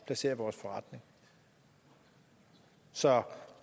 placere vores forretning så